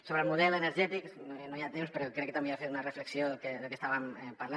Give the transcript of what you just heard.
sobre el model energètic no hi ha temps però crec que també he de fer una reflexió del que estàvem parlant